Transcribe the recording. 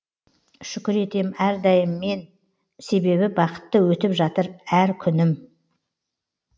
шүкір етем әрдайым мен себебі бақытты өтіп жатыр әр күнім